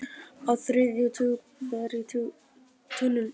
Á þriðja tug ber í tunnur